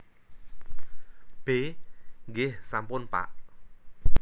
B Nggih sampun Pak